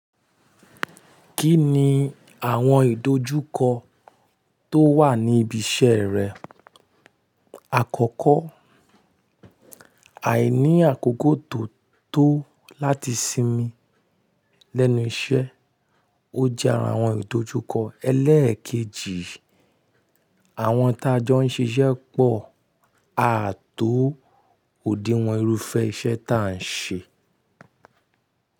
Kí ni àwọn ìdojúkọ tó wà ní ibi iṣẹ́ rẹ? Àkọ́kọ́, àìní àkókò tó tó láti sinmi lẹ́nu iṣẹ́, ó jẹ́ àra àwọn ìdojúkọ. Ẹlẹ́ẹ̀kejì, àwọn tí a jọ ń ṣiṣẹ́ pọ̀ a à tó òdiwọ̀n irúfẹ́ iṣẹ́ ta à ń ṣe.